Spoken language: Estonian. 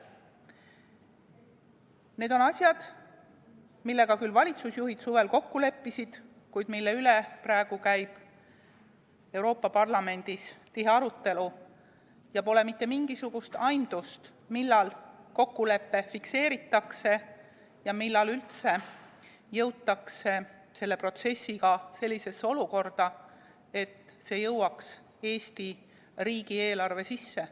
Need on asjad, milles valitsusjuhid suvel kokku leppisid, kuid mille üle käib praegu Euroopa Parlamendis tihe arutelu ja pole mitte mingisugust aimdust, millal kokkulepe fikseeritakse ja millal üldse jõutakse selle protsessiga sellisesse olukorda, et see jõuaks Eesti riigi eelarve sisse.